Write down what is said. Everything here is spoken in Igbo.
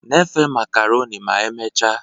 Na-efe macaroni ma emechaa